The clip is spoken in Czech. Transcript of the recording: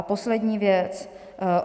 A poslední věc.